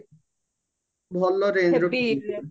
ଭଲ rangeର ପିନ୍ଧିବି